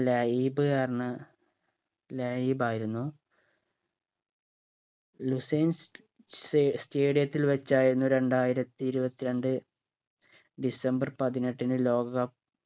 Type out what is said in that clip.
ലൈബ് ലൈബായിരുന്നു ലുസൈൻ സ് സേ stadium ത്തിൽ വെച്ചായിരുന്നു രണ്ടായിരത്തി ഇരുവത്രണ്ട് ഡിസംബർ പതിനെട്ടിന് ലോക cup